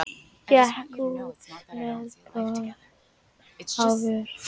Gekk út með bros á vör.